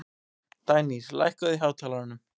Kassettutæki ofan á honum.